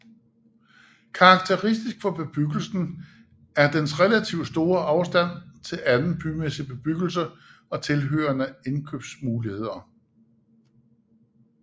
Karakteristisk for bebyggelsen er dens relativt store afstand til anden bymæssig bebyggelse og tilhørende indkøbsmuligheder